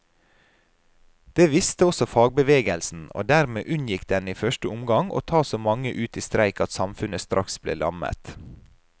Det visste også fagbevegelsen, og dermed unngikk den i første omgang å ta så mange ut i streik at samfunnet straks ble lammet.